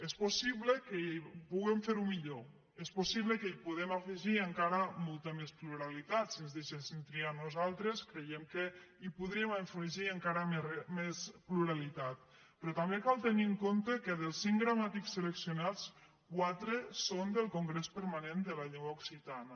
és possible que puguem fer ho millor és possible que hi puguem afegir encara molta més pluralitat si ens deixessin triar a nosaltres creiem que hi podríem afegir encara més pluralitat però també cal tenir en compte que dels cinc gramàtics seleccionats quatre són del congrés permanent de la llengua occitana